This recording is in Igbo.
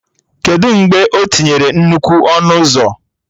Kedụ mgbe o tinyere nnukwu ọnụ ụzọ?